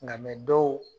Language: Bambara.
Nka dɔw